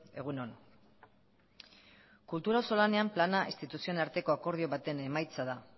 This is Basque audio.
egun on kultura auzolanean plana instituzioen arteko akordio baten emaitza da